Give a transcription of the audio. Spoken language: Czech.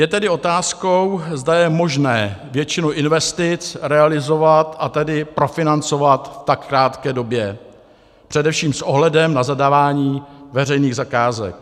Je tedy otázkou, zda je možné většinu investic realizovat, a tedy profinancovat v tak krátké době, především s ohledem na zadávání veřejných zakázek.